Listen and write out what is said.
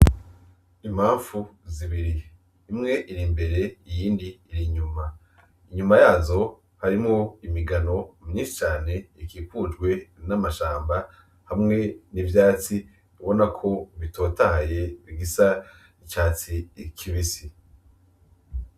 Imanfu zibiri imwe iri imbere iyindi iri inyuma, inyuma yazo harimwo imigano myinshi cane ikikujwe n'amashamba hamwe n'ivyatsi ubona ko bitotahaye bisa n'icatsi kibisi.